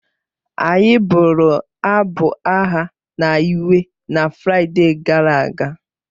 Anyị bụrụ abụ agha na ịwe na Fraịde gara aga